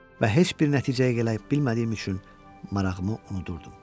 Və heç bir nəticəyə gələ bilmədiyim üçün marağımı unudurdum.